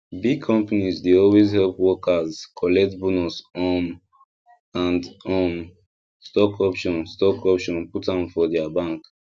big companies dey always help workers collect bonus um and um stock option stock option put am for their bank